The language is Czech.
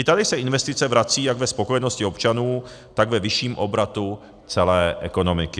I tady se investice vracejí jak ve spokojenosti občanů, tak ve vyšším obratu celé ekonomiky.